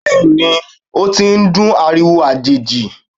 Bẹẹni, o ti n dún ariwo ajeji